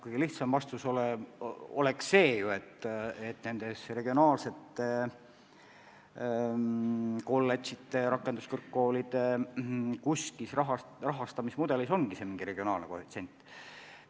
Kõige lihtsam vastus oleks, et regionaalsete kolledžite ja rakenduskõrgkoolide rahastamismudelis võikski olla arvestatud mingi regionaalne koefitsient.